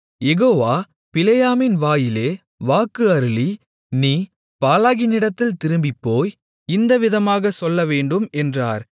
யெகோவா பிலேயாமின் வாயிலே வாக்கு அருளி நீ பாலாகினிடத்தில் திரும்பிப் போய் இந்த விதமாகச் சொல்லவேண்டும் என்றார்